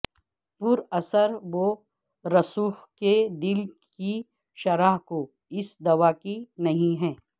پر اثر و رسوخ کے دل کی شرح کو اس دوا کی نہیں ہے